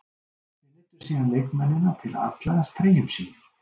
Þeir neyddu síðan leikmennina til að afklæðast treyjum sínum.